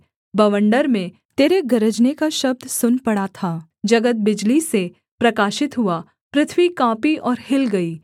बवंडर में तेरे गरजने का शब्द सुन पड़ा था जगत बिजली से प्रकाशित हुआ पृथ्वी काँपी और हिल गई